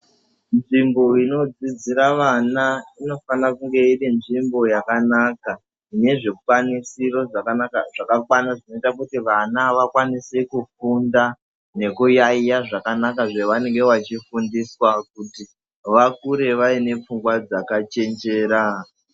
Nzvimbo inodzidzira vana inofanire kunge irinzvimbo yakanaka inezvikwanisiro zvakanaka. Zvakakwana zvinoite kuti vana vakwanise kufunda nekuyaiya zvakanaka zvavanenge vachifundiswa kuti vakure vaine pfungwa dzakachenjera.